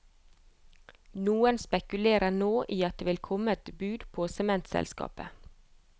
Noen spekulerer nå i at det vil komme et bud på sementselskapet.